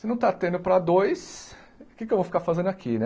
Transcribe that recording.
Se não está tendo para dois, o que é que eu vou ficar fazendo aqui, né?